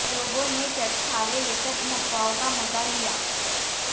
लोगों ने चटखारे लेकर इन अफवाओं का मजा लिया